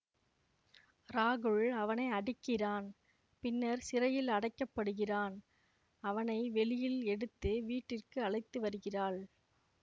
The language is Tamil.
ராகுல் அவனை அடிக்கிறான் பின்னர் சிறையில் அடைக்கப்படுகிறான் அவனை வெளியில் எடுத்து வீட்டிற்கு அழைத்து வருகிறாள்